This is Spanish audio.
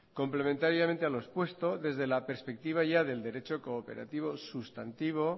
complementariamente a lo expuesto desde la perspectiva ya del derecho cooperativo sustantivo